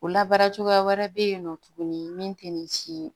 O labaara cogoya wɛrɛ bɛ yen nɔ tuguni min tɛ nin si ye